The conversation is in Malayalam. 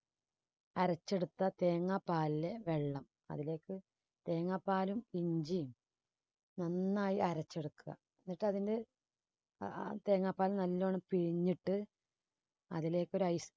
അരച്ചെടുത്ത തേങ്ങാപ്പാലിൽ വെള്ളം അതിലേക്ക് തേങ്ങാപ്പാലും ഇഞ്ചിയും നന്നായി അരച്ചെടുക്കുക എന്നിട്ട് അതില് ആ~ആ തേങ്ങാപ്പാല് നല്ലോണം പിഴിഞ്ഞിട്ട് അതിലേക്കു ഒരു ice